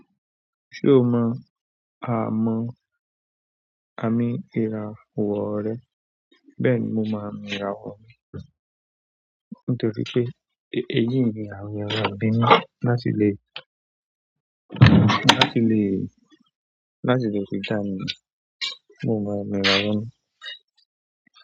Ṣé o mọ àmọ̀? Àmì ìràwọ̀ rẹ bẹ́ẹ̀ ni mo mo àmì ìràwọ̀ mi nítorí pé èyí ni àwọn eyan maa n bí mi láti lè, láti lè, láti lè fìtá mi, mo mo ìràwọ̀ mi.